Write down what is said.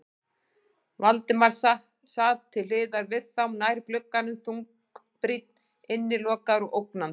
Valdimar sat til hliðar við þá, nær glugganum, þungbrýnn, innilokaður og ógnandi.